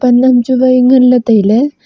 chu wai ngan le taile.